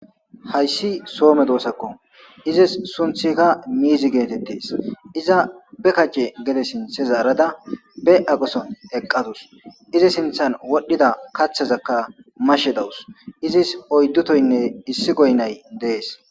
Hayssi soome doosakko izis sunthika miizi geetettes iza be kace gede sinthe zaarada be aquson eqqadus izi sinthan wodhdhida kathazakka mashe dawus izis oyddutoynne issi goynay dees.